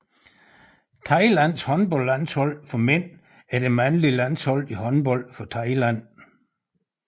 Thailands håndboldlandshold for mænd er det mandlige landshold i håndbold for Thailand